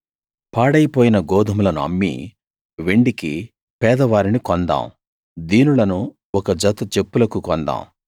పాడైపోయిన గోదుమలను అమ్మి వెండికి పేదవారిని కొందాం దీనులను ఒక జత చెప్పులకు కొందాం